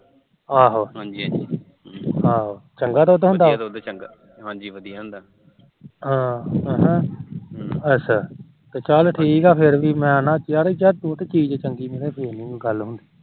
ਚੱਲ ਠੀਕ ਆ ਮੈੇ ਫਿਰ ਵੀ ਮੈ